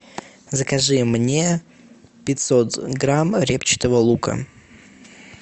закажи мне пятьсот грамм репчатого лука